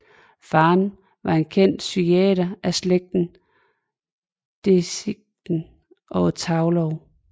Faren var en kendt psykiater af slægten Dedichen og Thaulow